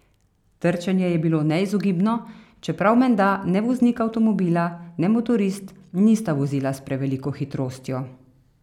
Trčenje je bilo neizogibno, čeprav menda ne voznik avtomobila ne motorist nista vozila s preveliko hitrostjo.